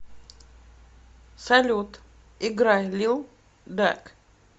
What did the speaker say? салют играй лил дак